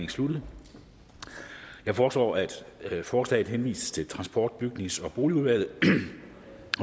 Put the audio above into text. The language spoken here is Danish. sluttet jeg foreslår at forslaget henvises til transport bygnings og boligudvalget